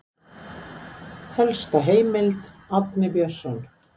Helsta heimild Árni Björnsson.